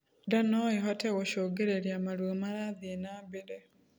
Ndaa noĩhote gũcũngĩrĩrĩa maruo marathie nambere